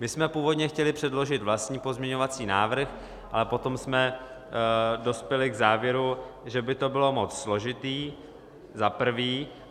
My jsme původně chtěli předložit vlastní pozměňovací návrh, ale potom jsme dospěli k závěru, že by to bylo moc složité - za prvé.